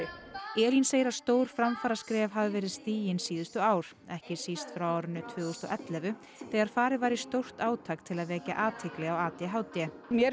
Elín segir stór framfaraskref hafa verið stigin síðustu ár ekki síst frá árinu tvö þúsund og ellefu þegar farið var í stórt átak til að vekja athygli á a d h d mér